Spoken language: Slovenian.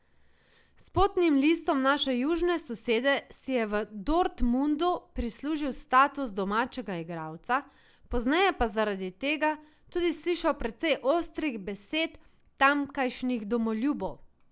S potnim listom naše južne sosede si je v Dortmundu prislužil status domačega igralca, pozneje pa zaradi tega tudi slišal precej ostrih besed tamkajšnjih domoljubov.